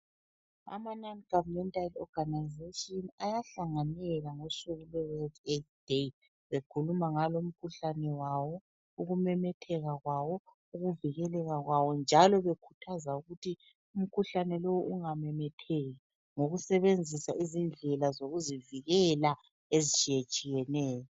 AmaNon govermental organisations ayahlanganela ngosuku lweWorld Aids Day bekhuluma ngalo mkhuhlane wawo, ukumemetheka kwawo, ukuvikeleka kwawo njalo bekhuthaza ukuthi umkhuhlane lowu ungamemetheki ngokusebenzisa izindlela zokuzivikela ezitshiyetshiyeneyo.